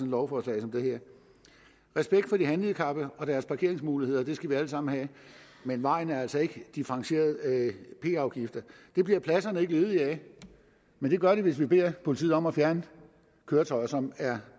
lovforslag som det her respekt for de handicappede og deres parkeringsmuligheder skal vi alle sammen have men vejen er altså ikke differentierede p afgifter det bliver pladserne ikke ledige af men det gør de hvis vi beder politiet om at fjerne køretøjer som er